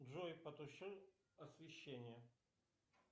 джой потуши освещение